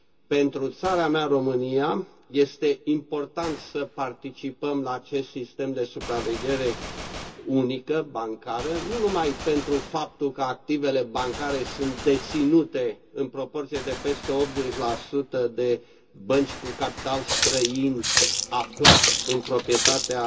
Pentru țara mea, România, este important să participăm la acest sistem de supraveghere unică bancară, nu numai pentru faptul că activele bancare sunt deținute în proporție de peste 80 de bănci cu capital străin aflat în proprietatea